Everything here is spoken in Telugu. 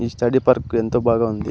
ఈ స్టడీ పార్క్ ఎంతో బాగా ఉంది.